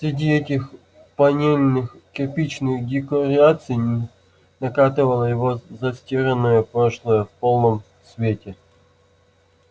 среди этих панельных-кирпичных декораций накатывало его застиранное прошлое в полном цвете